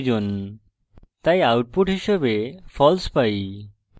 তাই output হিসাবে false পাই